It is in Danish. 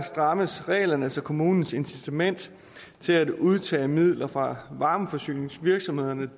strammes reglerne så kommunernes incitament til at udtage midler fra varmeforsyningsvirksomhederne